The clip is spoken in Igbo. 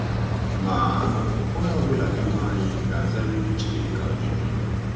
Ma onye ọ bụla n’ime anyị ga-azariri Chineke ajụjụ.